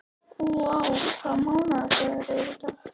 Úa, hvaða mánaðardagur er í dag?